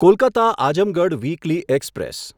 Kolkata Azamgarh weekly express